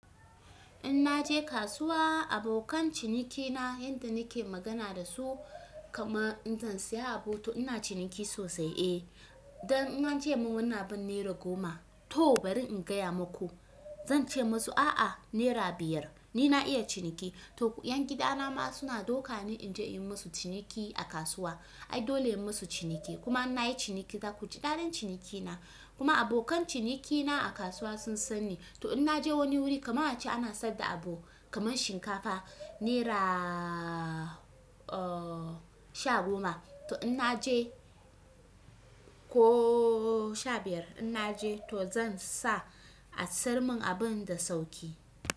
In naje kasuwa abokan cinikina yanda nake magana dasu kaman in zan saya abu to ina ciniki sosai. Eh, dan in ance mun wannan abin ne ra goma to bari in gaya maku. Zance masu a'a naira biyar ni na iya ciniki. To yan gida na ma suna dauka ni inje yi musu ciniki a kasuwa. Ai dole in yi musu ciniki. Kuma in nayi ciniki za ku ji daɗin cinikina. Kuma abokan ciniki na a kasuwa sun sanni to in naje wani wuri kamar a ce ana saida abu kaman shinkafa neraaa, oh sha goma to ina je ko sha biyar ina je to zan sa a siyar min abunda sauki.